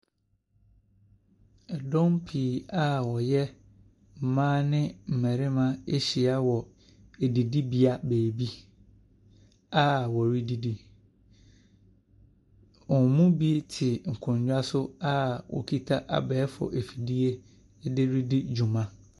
Dɔm pii a wɔyɛ mmaa ne mmarima ahyia wɔ adidibea baabi a wɔredidi. Wɔn mu bi te nkonnwa so a wɔkita abɛɛfo afidie de redi dwuma.